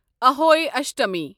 Ahoi Ashtami